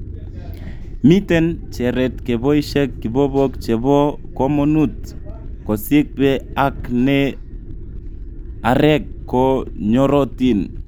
Miten cheret keboishen kibobok chebo komonut, kosiibge ak ne arek ko nyorotin.